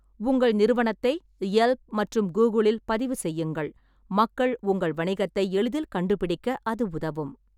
உங்கள் நிறுவனத்தை யெல்ப் மற்றும் கூகுளில் பதிவு செய்யுங்கள், மக்கள் உங்கள் வணிகத்தை எளிதில் கண்டுபிடிக்க அது உதவும்.